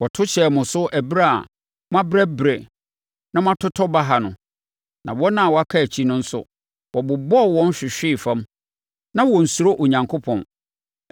Wɔto hyɛɛ mo so ɛberɛ a moabrɛbrɛ na moatotɔ baha no, na wɔn a wɔaka akyi no nso, wɔbobɔɔ wɔn hwehwee fam. Na wɔnsuro Onyankopɔn.